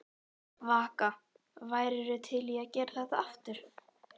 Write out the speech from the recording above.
Vaka: Værirðu til í að gera þetta aftur?